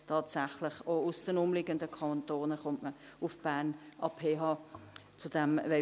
Tatsächlich: Auch aus den umliegenden Kantonen kommen Studierende nach Bern an die PH Bern.